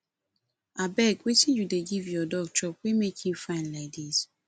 abeg wetin you dey give your dog chop wey make im fine like dis